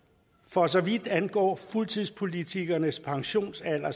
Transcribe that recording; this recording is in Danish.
for så vidt angår fuldtidspolitikernes pensionsalder